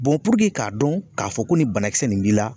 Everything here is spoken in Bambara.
puruke k'a dɔn k'a fɔ ko nin banakisɛ nin b'i la